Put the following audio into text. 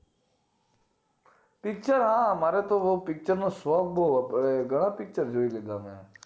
picture હા મારેતો picture નો શોખ બોવ હતો મેં ઘણા picture જોય લીધા મેં